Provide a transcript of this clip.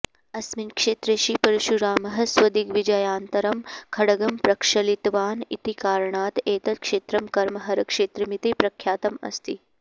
अस्मिन् क्षेत्रे श्रीपरशुरामः स्वदिग्विजयानन्तरं खड्गं प्रक्षालितवान् इति कारणात् एतत् क्षेत्रम् कर्महरक्षेत्रमिति प्रख्यातम् अस्ति